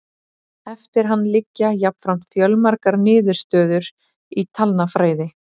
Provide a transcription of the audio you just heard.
Eftir hann liggja jafnframt fjölmargar niðurstöður í talnafræði.